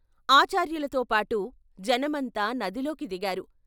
ఆచార్యులతో పాటు జనమంతా నదిలోకి దిగారు.